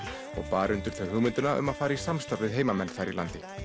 og bar undir þau hugmyndina um að fara í samstarf við heimamenn þar í